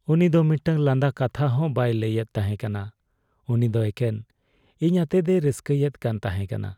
ᱩᱱᱤ ᱫᱚ ᱢᱤᱫᱴᱟᱝ ᱞᱟᱸᱫᱟ ᱠᱟᱛᱷᱟ ᱦᱚᱸ ᱵᱟᱭ ᱞᱟᱹᱭᱮᱫ ᱛᱟᱦᱮᱠᱟᱱᱟ, ᱩᱱᱤ ᱫᱚ ᱮᱠᱮᱱ ᱤᱧ ᱟᱛᱮᱫᱼᱮ ᱨᱟᱹᱥᱠᱟᱹᱭᱮᱫ ᱠᱟᱱ ᱛᱟᱦᱮᱠᱟᱱᱟ ᱾